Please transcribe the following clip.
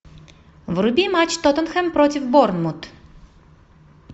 вруби матч тоттенхэм против борнмут